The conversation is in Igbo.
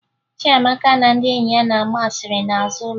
Chiamaka na ndị enyi ya na-agba asịrị n'azụ ụlọ